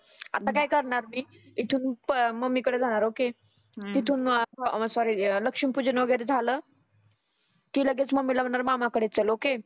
आता काय करणार मी इथुन प मम्मी कडं जाणार ओके तीथुन अं सॉरी लक्ष्मी पुजन वगैरे झालं की लगेच मम्मीला म्हणार मामा कडं चलं ओके